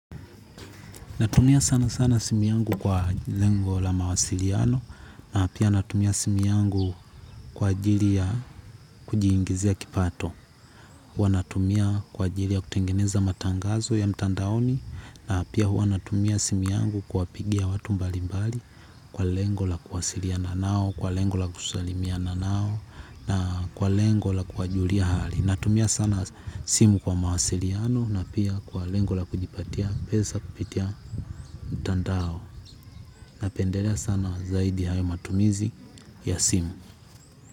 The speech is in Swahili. Natumia sana sana simu yangu kwa lengo la mawasiliano na pia natumia simu yangu kwa ajili ya kujiingizia kipato. Huwa natumia kwa ajili ya kutengeneza matangazo ya mtandaoni, na pia huwa natumia simu yangu kuwapigia watu mbalilmbali kwa lengo la kuwasiliana nao kwa lengo la kusalimiana nao na kwa lengo la kuwajulia hali. Natumia sana simu kwa mawasiliano, na pia kwa lengo la kujipatia pesa kupitia mtandao. Napenderea sana zaidi hayo matumizi, ya simu.